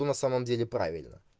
но на самом деле правильно